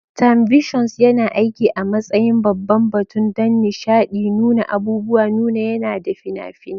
Timevissions yana aiki a matsayin babban batun don nishaɗi, nuna abubuwan nuna yana da fina-finai.